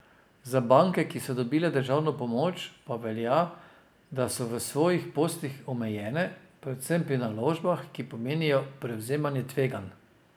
Za banke, ki so dobile državno pomoč, pa velja, da so v svojih poslih omejene, predvsem pri naložbah, ki pomenijo prevzemanje tveganj.